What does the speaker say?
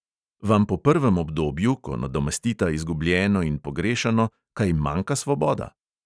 Vam po prvem obdobju, ko nadomestita izgubljeno in pogrešano, kaj manjka svoboda?